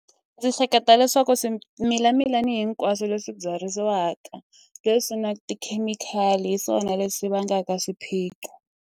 Ndzi hleketa leswaku swimila milani hinkwaswo leswi byariwaka leswi na tikhemikhali hi swona leswi vangaka swiphiqo.